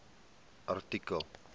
artikel